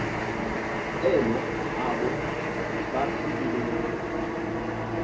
elo abo baphilileyo